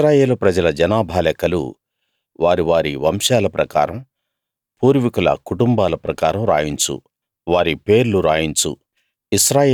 ఇశ్రాయేలు ప్రజల జనాభా లెక్కలు వారి వారి వంశాల ప్రకారం పూర్వీకుల కుటుంబాల ప్రకారం రాయించు వారి పేర్లు రాయించు